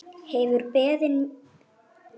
Hefur beðið mín lengi.